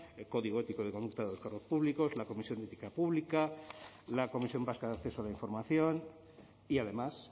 el código ético y de conducta de los cargos públicos la comisión de ética pública la comisión vasca de acceso a la información y además